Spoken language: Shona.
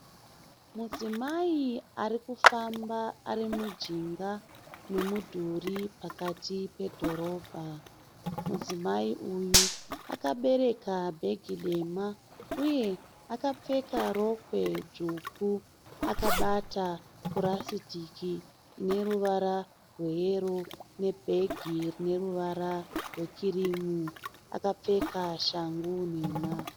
Mudzimai ari kufamba ari mujinga memudhuri pakati pedhorobha. Mudzimai uyu aka bereka bhegi dema uye akapfeka rokwe dzvuku akabata purasitiki `ine ruvara rweyero nebhegi rine ruvara rwekirimu. Akapfeka shangu nhema.